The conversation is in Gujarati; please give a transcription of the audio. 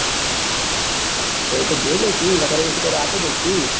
તો જોઈ લઈસુ નકર એવું હશે તો રાતે જઈસુ.